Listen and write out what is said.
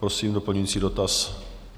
Prosím, doplňující dotaz.